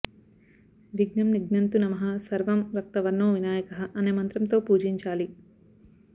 విఘ్నం నిఘ్నంతు నమః స్సర్వం రక్తవర్ణో వినాయకః అనే మంత్రంతో పూజించాలి